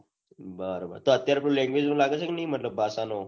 તો અત્યરે કોઈ language છે કે નથી મતલબ ભાષા નો